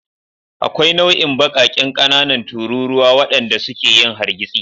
Akwai nau'in baƙaƙen ƙanana tururuwa waɗanda suke yin hargitsi.